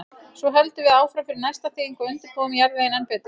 Svo höldum við áfram fyrir næsta þing og undirbúum jarðveginn enn betur.